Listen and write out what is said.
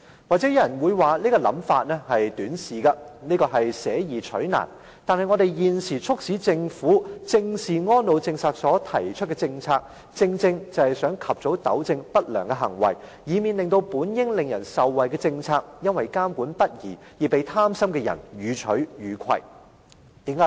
也許有人會認為我這種想法很短視，而且捨易取難，但我們現時促使政府正視安老政策推出的措施，正正是想及早糾正不良行為，以免這些本應使人受惠的政策，因為監管不力而被貪心的人予取予攜。